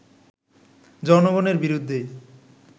জনগণের বিরুদ্ধেই